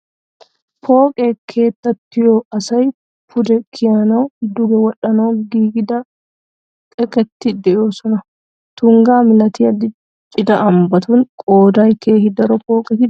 Pooqe keettatuyyo asay pude kiyanawunne duge wodhdhanawu giigida xekkati de"oosona . Tungga milatiya diccida ambbatun qoodan keehi daro pooqeti de"oosona.